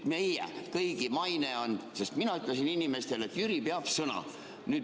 Meie kõigi maine on, sest mina ütlesin inimestele, et Jüri peab sõna.